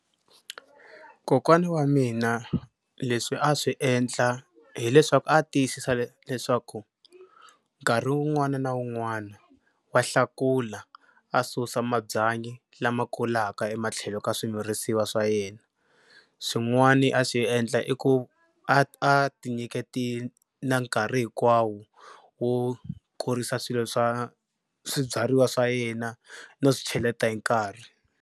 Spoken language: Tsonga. Kokwani wa mina leswi a swi endla hileswaku a tiyisisa leswaku nkarhi wun'wana na wun'wana wa hlakula a susa mabyanyi lama kulaka ematlhelo ka swimirisiwa swa yena. Swin'wani a swi endla i ku a ti nyiketi na nkarhi hinkwawo wo kurisa swilo swa swibyariwa swa yena no swi cheleta hi nkarhi.